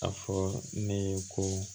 A fɔ ne ye ko